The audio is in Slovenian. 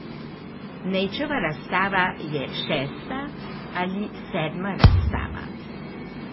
Nejčeva razstava je šesta ali sedma razstava.